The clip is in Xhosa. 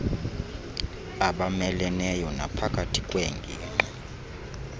abameleneyo naphakathi kweengingqi